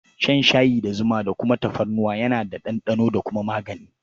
Shan shayi da zuma da kuma tafarnuwa yana da ɗanɗano da kuma magani.